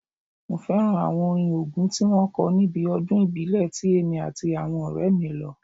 Mo fẹ́ràn àwọn orin Ògún tí wọ́n kọ níbi ọdún ìbílẹ̀ ti èmi àti àwọn ọ̀rẹ́ mí lọ